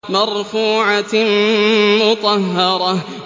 مَّرْفُوعَةٍ مُّطَهَّرَةٍ